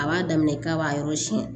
A b'a daminɛ k'a b'a yɔrɔ siyɛn